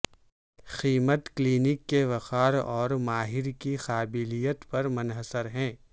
قیمت کلینک کے وقار اور ماہر کی قابلیت پر منحصر ہے